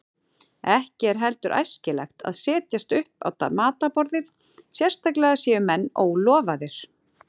Ekki er heldur æskilegt að setjast upp á matarborðið, sérstaklega séu menn ólofaðir.